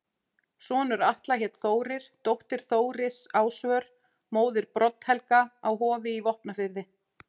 Sonur Atla hét Þórir, dóttir Þóris Ásvör, móðir Brodd-Helga á Hofi í Vopnafirði.